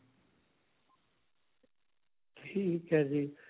ਠੀਕ ਹੈ ਜੀ.